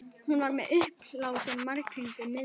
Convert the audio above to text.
Hún var með uppblásinn bjarghring um miðjuna.